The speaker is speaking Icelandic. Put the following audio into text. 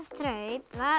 það